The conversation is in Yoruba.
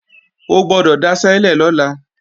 O gbọ́dọ̀ daṣẹ́lẹ̀ lọ́la!